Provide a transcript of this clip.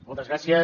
moltes gràcies